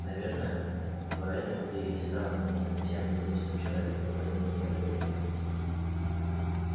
наверное поэтому ты и стал не тем единственным человеком которому я доверяю